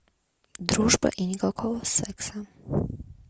дружба и никакого секса